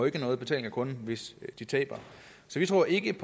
ikke nogen betaling af kunden hvis de taber så vi tror ikke